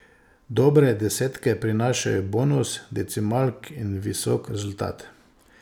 Dobre desetke prinašajo bonus decimalk in visok rezultat.